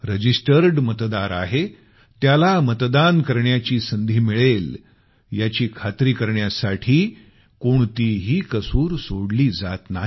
registered मतदार आहे त्याला मतदान करण्याची संधी मिळेल याची खात्री करण्यासाठी कोणतीही कसूर सोडत नाही